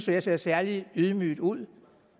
jeg ser særlig ydmyg ud og